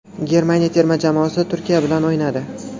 Germaniya terma jamoasi Turkiya bilan o‘ynadi.